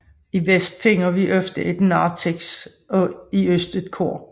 I vest finder vi ofte et narthex og i øst et kor